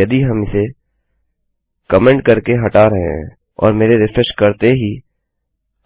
यदि हम इसे कमेन्ट कर के हटा रहे हैं और मेरे रिफ्रेश करते ही